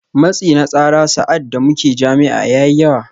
Matsi na tsara sa’ad da muke jami’a ya yi yawa